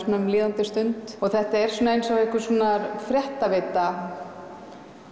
um líðandi stund þetta er eins og einhverskonar fréttaveita